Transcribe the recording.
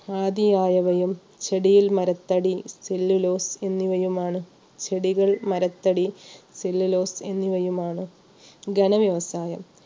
ആദിയായവയും ചെടിയിൽ മരത്തടി, സെല്ലിലോസ് എന്നിവയുമാണ് ചെടികൾ, മരത്തടി, സെല്ലിലോസ് എന്നിവയുമാണ് ഖന വ്യവസായം.